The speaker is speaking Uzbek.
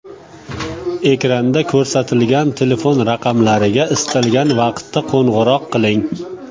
Ekranda ko‘rsatilgan telefon raqamlariga istalgan vaqtda qo‘ng‘iroq qiling.